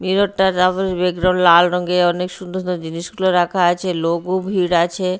Mirror -টা background লাল রঙের অনেক সুন্দর সুন্দর জিনিসগুলো রাখা আছে লোকও ভিড় আছে।